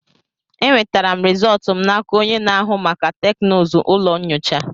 Enwetara m rizọtụ m n'aka onye na-ahụ maka teknụzụ ụlọ nyocha.